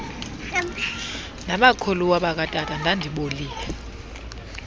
nabakhuluwa bakatata ndandibolile